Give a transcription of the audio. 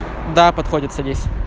да подходят садись